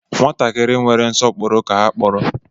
Nwatakịrị nwere nsọpụrụ ka ha kpọrọ